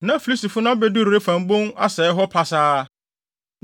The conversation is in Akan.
Na Filistifo no abedu Refaim bon asɛe hɔ pasaa.